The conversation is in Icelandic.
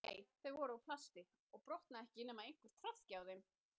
Nei, þau voru úr plasti og brotna ekki nema einhver traðki á þeim